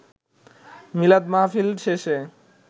মিলাদ মাহফিল শেষে